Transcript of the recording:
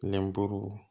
Lenburu